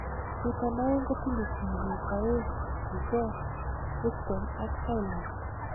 Chuton aeng kotinye tiibik aeng akicheng, Kristen ak kailand.